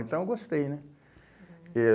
Então eu gostei, né? Uhum. Eh